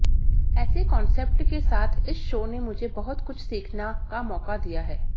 ऐसे कॉन्सेप्ट के साथ इस शो ने मुझे बहुत कुछ सीखना का मौका दिया है